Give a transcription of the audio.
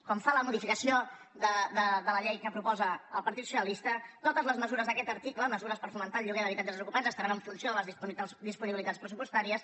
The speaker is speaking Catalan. com fa la modificació de la llei que propo·sa el partit socialista totes les mesures d’aquest ar·ticle mesures per fomentar el lloguer d’habitatges desocupats estaran en funció de les disponibilitats pressupostàries